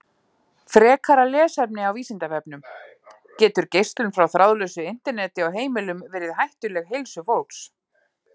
Frekara lesefni á Vísindavefnum: Getur geislun frá þráðlausu Interneti á heimilum verið hættuleg heilsu fólks?